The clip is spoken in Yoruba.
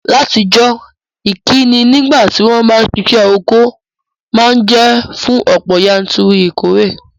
Látijọ́, ìkíni nígbàtí won ba n sisẹ́ oko ma n je fún ọ̀pọ̀yanturu ìkóre